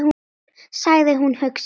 sagði hún hugsi.